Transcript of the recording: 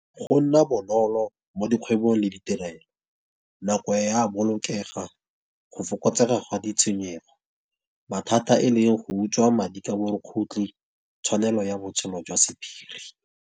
Go nna bonolo mo dikgwebong le ditirelo nako e a bolokega, go fokotsega ga ditshenyego. Mathata e le go utswa madi ka borukgutlhi, tshwanelo ya botshelo jwa sephiri.